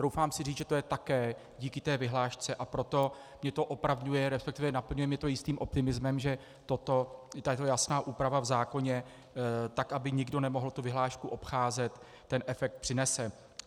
Troufám si říct, že to je také díky té vyhlášce, a proto mě to opravňuje, respektive naplňuje mě to jistým optimismem, že tato jasná úprava v zákoně, tak aby nikdo nemohl tu vyhlášku obcházet, ten efekt přinese.